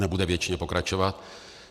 Nebude věčně pokračovat.